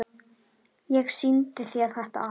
Ég sýndi þér þetta allt.